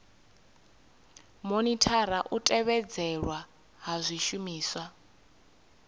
monithara u tevhedzelwa ha zwishumiswa